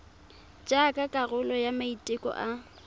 jaaka karolo ya maiteko a